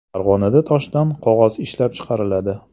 Farg‘onada toshdan qog‘oz ishlab chiqariladi.